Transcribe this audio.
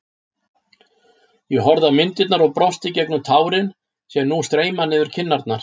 Ég horfi á myndirnar og brosi gegnum tárin sem nú streyma niður kinnarnar.